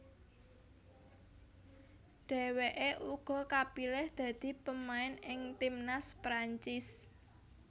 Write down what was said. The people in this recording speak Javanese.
Dheweke uga kapilih dadi pemain ing timnas Perancis